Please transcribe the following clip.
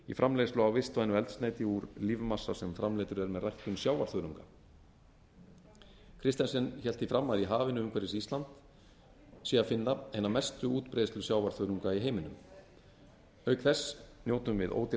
í framleiðslu á vistvænu eldsneyti úr lífmassa sem framleiddur er með ræktun sjávarþörunga christensen hélt því fram að í hafinu umhverfis ísland sé að finna hina mestu útbreiðslu sjávarþörunga í heiminum auk þess njótum við ódýrrar